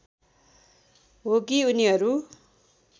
हो कि उनीहरू